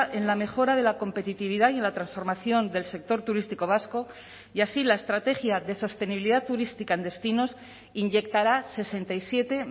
en la mejora de la competitividad y en la transformación del sector turístico vasco y así la estrategia de sostenibilidad turística en destinos inyectará sesenta y siete